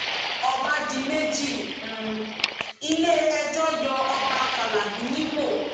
ọba di méjì ń um iléẹjọ yọ ọba fàlábì nípò